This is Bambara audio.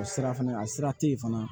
O sira fana a sira te yen fana